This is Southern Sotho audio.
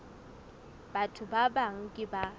batho ba bang ke ba